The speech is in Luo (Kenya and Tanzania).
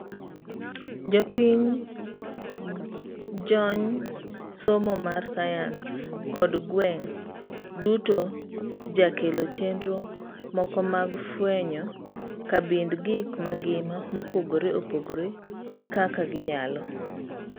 Jopiny, jony somo mar science kod gweng' duto jakelo chenro moko mag fuenyo kabind gik mangima mopogre opogre kaka ginyalo.